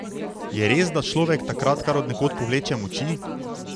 Je res, da človek takrat kar od nekod povleče moči?